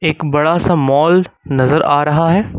एक बड़ा सा मॉल नजर आ रहा है।